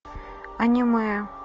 аниме